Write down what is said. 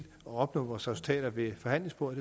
at opnå vores resultater ved forhandlingsbordet